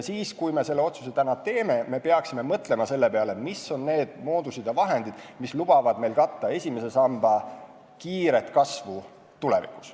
Kui me selle otsuse täna teeme, siis peaksime mõtlema sellele, mis on need moodused ja vahendid, mis lubavad meil katta esimese samba kiiret kasvu tulevikus.